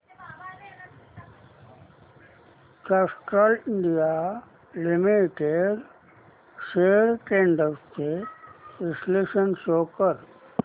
Castrol India limited shares trends चे विश्लेषण show कर